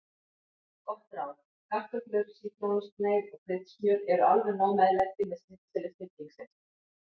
Gott ráð: Kartöflur, sítrónusneið og kryddsmjör eru alveg nóg meðlæti með snitseli snillingsins.